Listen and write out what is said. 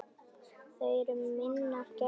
Þau eru minnar gæfu smiðir.